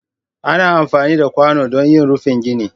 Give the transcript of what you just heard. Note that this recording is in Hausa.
ana amfani da kwano don yin rufin gine